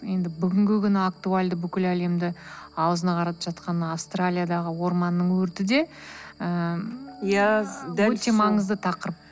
енді бүгінгі күні актуалды бүкіл әлемді аузына қаратып жатқан мына австралиядағы орманның өрті де ыыы өте маңызды тақырып